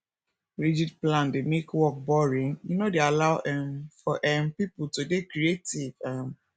rigid plan dey make work boring e no dey allow um for um pipo to dey creative um